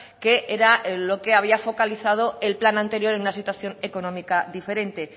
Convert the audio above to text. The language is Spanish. que era lo que había focalizado el plan anterior en una situación económica diferente